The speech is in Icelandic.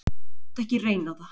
Láttu ekki reyna á það.